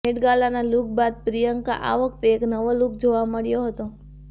મેટગાલાના look બાદ પ્રિયંકા આ વખતે એક નવો લુક જોવા મળ્યો હતો